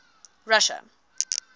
russia